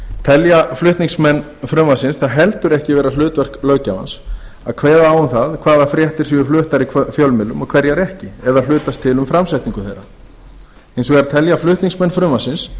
telja flutningsmenn frumvarpsins það heldur ekki hlutverk löggjafans að kveða á um það hvaða fréttir séu fluttar í fjölmiðlum og hverjar ekki eða hlutast til um framsetningu þeirra hins vegar telja flutningsmenn frumvarpsins